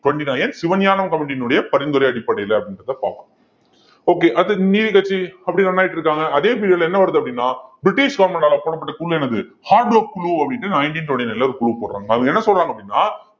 twenty-nine Sivagnanam committee யினுடைய பரிந்துரை அடிப்படையில அப்படின்றதை பார்ப்போம் okay அடுத்து நீதி கட்சி அப்படியே run ஆயிட்டு இருக்காங்க அதே period ல என்ன வருது அப்படின்னா பிரிட்டிஷ் government ஆல போடப்பட்ட குழு என்னது குழு அப்படின்னுட்டு nineteen twenty-nine ல ஒரு குழு போடுறாங்க அவங்க என்ன சொல்றாங்க அப்படின்னா